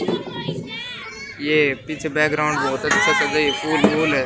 ये पीछे बैकग्राउंड बहोत अच्छा चल रही है।